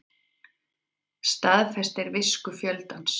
Staðfestir visku fjöldans